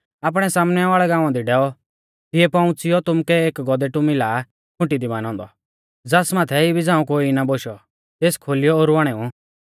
आपणै सामनै वाल़ै गाँवा दी डैऔ तिऐ पौउंच़िऔ तुमुकै एक गौधेटु मिला खुंटी दी बानौ औन्दौ ज़ास माथै इबी झ़ांऊ कोई ना बोशौ तेस खोलियौ ओरु आणेऊ